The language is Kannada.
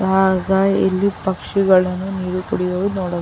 ಹಾಗ್ ಇಲ್ಲಿ ಪಕ್ಷಿಗಳನ್ನು ನೀರ್ ಕುಡಿಯೋದ್ ನೋಡ --